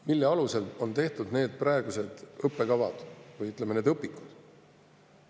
Mille alusel on tehtud need praegused õppekavad või, ütleme, õpikud?